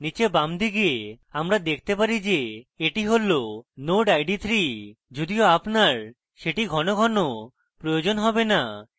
নীচে বামদিকে আমরা দেখতে পারি at হল node id 3 যদিও আপনার সেটি ঘনঘন প্রয়োজন হবে না